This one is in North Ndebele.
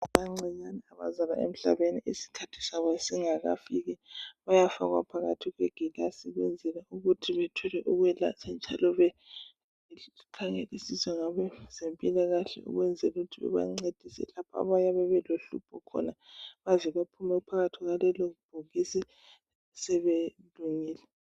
Abancinyane abazalwa emhlabeni isikhathi sabo singakafiki bayafakwa phakathi kwegilasi ukwenzela ukuthi bethole ukwelatshwa njalo bekhangelisiswe ngabezempilakahle ukwenzela ukuthi bebancedise lapha abayabe belohlupho khona baze baphume phakathi kkwalelobhokisi sebelungile.